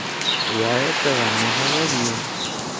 я этого не говорил